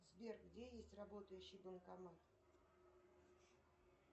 сбер где есть работающий банкомат